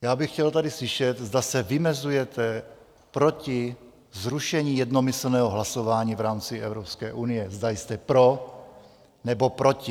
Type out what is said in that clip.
Já bych chtěl tady slyšet, zda se vymezujete proti zrušení jednomyslného hlasování v rámci Evropské unie, zda jste pro, nebo proti.